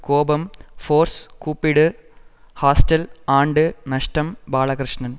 கோபம் ஃபோர்ஸ் கூப்பிடு ஹாஸ்டல் ஆண்டு நஷ்டம் பாலகிருஷ்ணன்